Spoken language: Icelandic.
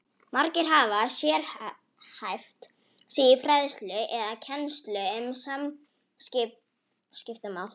Margir hafa sérhæft sig í fræðslu eða kennslu um samskiptamál.